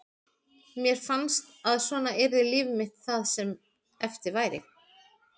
Mér fannst að svona yrði líf mitt það sem eftir væri.